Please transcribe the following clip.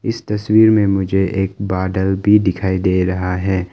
इस तस्वीर में मुझे एक बादल भी दिखाई दे रहा है।